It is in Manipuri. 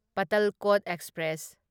ꯄꯇꯜꯀꯣꯠ ꯑꯦꯛꯁꯄ꯭ꯔꯦꯁ